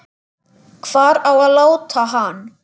Hvar á að láta hann?